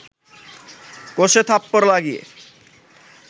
কষে থাপ্পড় লাগিয়ে